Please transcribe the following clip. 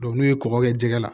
n'u ye kɔkɔ kɛ jɛgɛ la